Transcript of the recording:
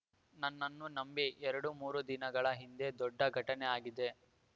ನನ್ನನ್ನು ನಂಬಿ ಎರಡು ಮೂರು ದಿನಗಳ ಹಿಂದೆ ದೊಡ್ಡ ಘಟನೆ ಆಗಿದೆ